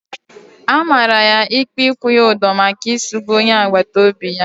A mara ya ikpe ikwu ya udo maka isugbu onye agbata obi ya